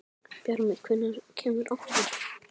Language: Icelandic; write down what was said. Bjarmi, hvenær kemur áttan?